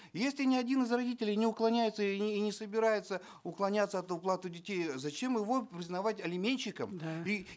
если ни один из родителей не уклоняется и не собирается уклоняться от уплаты детей зачем его признавать алиментщиком да и